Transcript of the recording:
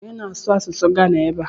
Onye na-asụ asụsụ Gana ebe a?